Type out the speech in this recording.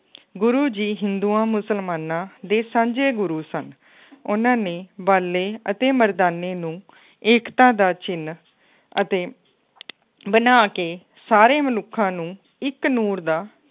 ਗੁਰੂ ਜੀ ਹਿੰਦੂਆਂ ਮੁਸਲਮਾਨਾਂ ਦੇ ਸਾਂਝੇ ਗੁਰੂ ਸਨ, ਉਹਨਾਂ ਨੇ ਬਾਲੇ ਅਤੇ ਮਰਦਾਨੇ ਨੂੰ ਏਕਤਾ ਦਾ ਚਿੰਨ ਅਤੇ ਬਣਾ ਕੇ ਸਾਰੇ ਮਨੁੱਖਾਂ ਨੂੰ ਇੱਕ ਨੂਰ ਦਾ